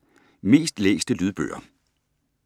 Mest læste Lydbøger